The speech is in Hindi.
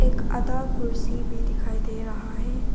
एक आधा कुर्सी भी दिखाई दे रहा है।